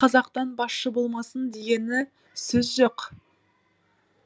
қазақтан басшы болмасын дегені сөз жоқ